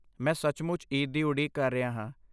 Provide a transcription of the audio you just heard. ਮੈਂ ਸੱਚਮੁੱਚ ਈਦ ਦੀ ਉਡੀਕ ਕਰ ਰਿਹਾ ਹਾਂ।